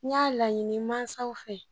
N y'a laɲini mansaw fɛ